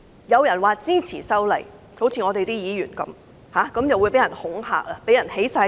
有人說支持修例，例如有議員這樣說，他們便會被人恐嚇，被人起底。